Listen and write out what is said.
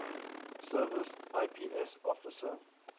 service ips officer